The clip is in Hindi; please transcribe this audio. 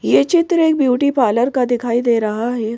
ये चित्र एक ब्यूटी पार्लर का दिखाई दे रहा है।